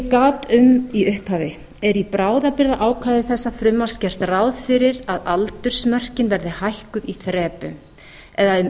gat um í upphafi er í bráðabirgðaákvæði þessa frumvarps gert ráð fyrir að aldursmörkin verði hækkuð í þrepum eða um